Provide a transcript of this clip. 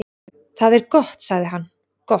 """Það er gott sagði hann, gott"""